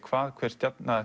hvað hver stjarna